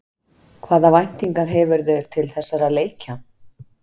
Hvaða væntingar hefurðu til þessara leikja?